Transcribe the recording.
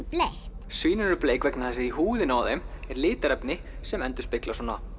bleikt svín eru bleik vegna þess að í húðinni á þeim er litarefni sem endurspeglar